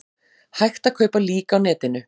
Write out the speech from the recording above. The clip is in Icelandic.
Hægt að kaupa lík á netinu